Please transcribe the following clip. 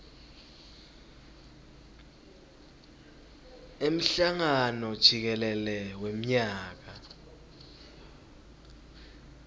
emhlangano jikelele wemnyaka